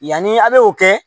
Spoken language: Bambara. Yanni a' bɛ o kɛ